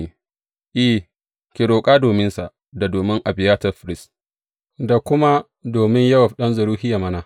I, ki roƙa dominsa, da domin Abiyatar firist, da kuma domin Yowab ɗan Zeruhiya mana!